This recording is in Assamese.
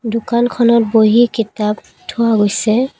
দোকানখনত বহী কিতাপ থোৱা গৈছে ।